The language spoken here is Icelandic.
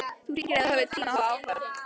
Þú hringir ef þú hefur tíma og áhuga.